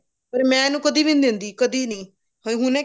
ਪਰ ਮੈਂ ਇਹਨੂੰ ਕਦੇ ਵੀ ਨਹੀਂ ਦਿੰਦੀ ਕਦੀ ਨੀ ਹੁਣੇ